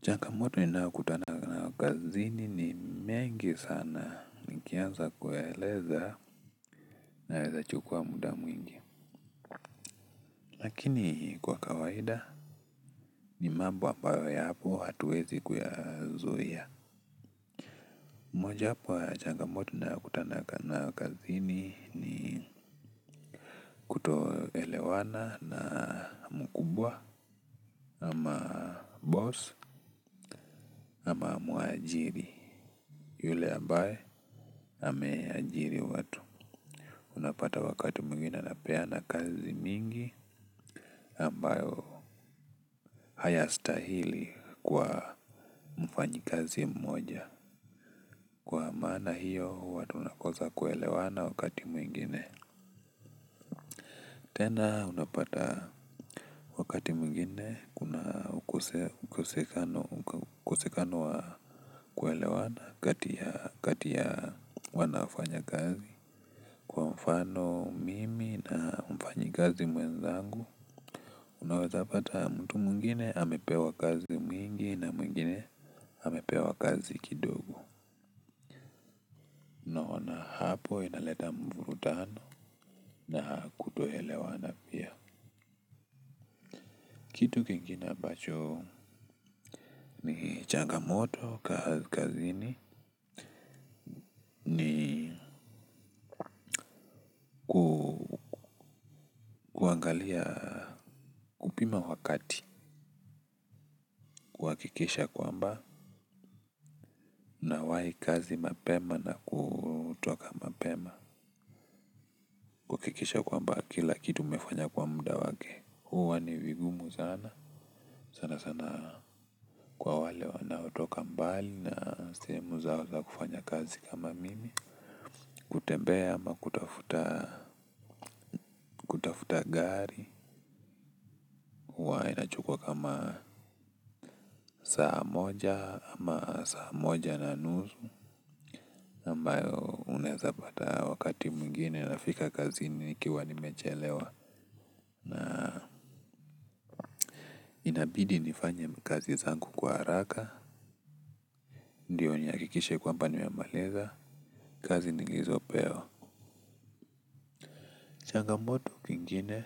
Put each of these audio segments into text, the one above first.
Changamoto ninaykutana nayo kazini ni mengi sana nikianza kueleza na lweza chukua muda mwingi. Lakini kwa kawaida ni mambo ambayk yapo hatuwezi kuyazuia. Moja yapo ya changa moto ninayokutana nayo kazini ni kutoelewana na mkubwa ama boss ama muajiri. Yule ambaye ameajiri watu unapata wakati mwingine anapeana kazi mingi ambayo hayastahili kwa mfanyi kazi mmoja. Kwa maana hiyo huwa tunakosa kuelewana wakati mwingine tena unapata wakati mingine kuna ukosekano wa ukusekano wa kuelewana kati ya wanafanya kazi. Kwa mfano mimi na mfanyi kazi mwenzangu. Unaweza pata mtu mwingine amepewa kazi mingi na mwingine amepewa kazi kidogo hapo inaleta mvurutano na kutoelewana pia kitu kingine ambacho ni changamoto kazi kazini ni angalia kupima wakati. Kuhakikisha kwamba nawahi kazi mapema na kutoka mapema kwamba kila kitu umefanya kwa muda wake. Huwa ni vigumu sana sana sana kwa wale wanaotoka mbali na sehemu zao za kufanya kazi kama mimi kutembea ama kutufuta gari. Inachukwa kama saa moja ama saa moja na nusu ambayo unaeza pata wakatu mwingine ninafika akzi i nikiwa nimechelewa na inabidi nifanye kazi zangu kwa haraka ndyo nihakikishe kwamba nimemaliza kazi nilizopewa. Changamoto ingine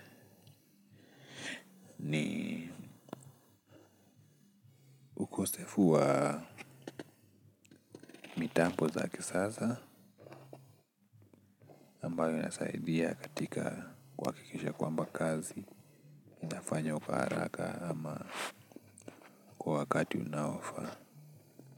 ni ukosefu wa mitambi za kisasa ambayo inasaidia katika kuhakikisha kwamba kazi inafanywa kwa haraka ama kwa wakati inayofaa.